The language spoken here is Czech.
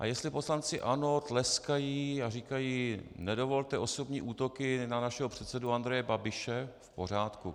A jestli poslanci ANO tleskají a říkají: nedovolte osobní útoky na našeho předsedu Andreje Babiše, v pořádku.